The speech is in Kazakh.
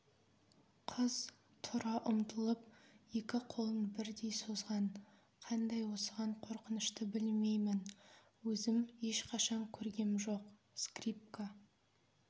қыз тұра ұмтылып екі қолын бірдей созған қандай осыған қорқынышты білмеймін өзім ешқашан көргем жоқ скрипка